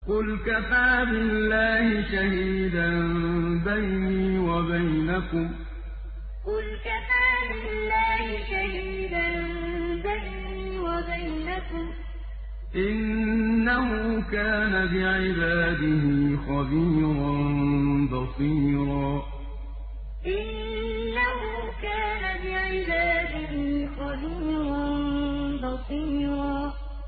قُلْ كَفَىٰ بِاللَّهِ شَهِيدًا بَيْنِي وَبَيْنَكُمْ ۚ إِنَّهُ كَانَ بِعِبَادِهِ خَبِيرًا بَصِيرًا قُلْ كَفَىٰ بِاللَّهِ شَهِيدًا بَيْنِي وَبَيْنَكُمْ ۚ إِنَّهُ كَانَ بِعِبَادِهِ خَبِيرًا بَصِيرًا